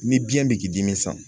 Ni biɲɛ bɛ k'i dimi sa